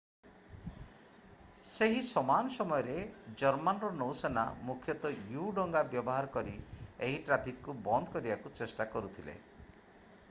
ସେହି ସମାନ ସମୟରେ ଜର୍ମାନର ନୌସେନା ମୁଖ୍ୟତଃ ୟୁ-ଡଙ୍ଗା ବ୍ୟବହାର କରି ଏହି ଟ୍ରାଫିକକୁ ବନ୍ଦ କରିବାକୁ ଚେଷ୍ଟା କରୁଥିଲେ